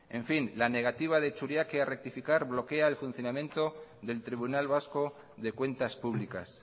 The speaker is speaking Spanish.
la negativa de churiaque a rectificar bloquea el funcionamiento del tribunal vasco de cuentas públicas